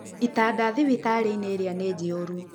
Itanda thibitarĩ-inĩ ĩrĩa nĩ njihũru.